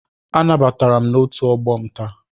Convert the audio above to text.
Anabatara m na otu ọgbọ m taa.